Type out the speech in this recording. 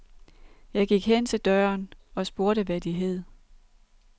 Jeg gik hen til døren og spurgte hvad de hed.